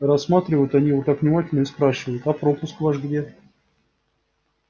рассматривают они его так внимательно и спрашивают а пропуск ваш где